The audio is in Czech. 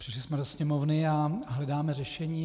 Přišli jsme do sněmovny a hledáme řešení.